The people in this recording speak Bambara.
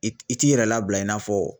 I i t'i yɛrɛ labila i n'a fɔ